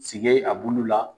Sige a bulu la.